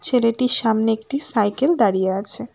ছেলেটির সামনে একটি সাইকেল দাঁড়িয়ে আছে।